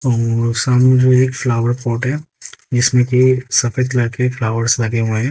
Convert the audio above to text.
और सामने जो एक फ्लावर पॉट है जिसमें की सफेद कलर के फ्लावर्स लगे हुए है।